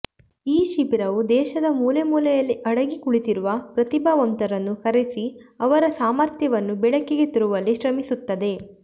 ಈ ಶಿಬಿರವು ದೇಶದ ಮೂಲೆ ಮೂಲೆಯಲ್ಲಿ ಅಡಗಿ ಕುಳಿತಿರುವ ಪ್ರತಿಭಾವಂತರನ್ನು ಕರೆಸಿ ಅವರ ಸಾಮರ್ಥ್ಯವನ್ನು ಬೆಳಕಿಗೆ ತರುವಲ್ಲಿ ಶ್ರಮಿಸುತ್ತದೆ